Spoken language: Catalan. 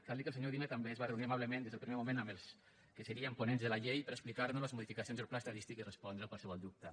cal dir que el senyor udina també es va reunir amablement des del primer moment amb els que serien ponents de la llei per explicar nos les modificacions del pla estadístic i respondre qualsevol dubte